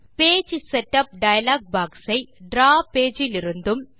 page setup dialogue box ஐ draw page இலிருந்தும்